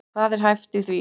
Hvað er hæft í því?